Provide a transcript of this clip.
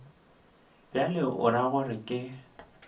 bjalo o ra gore ke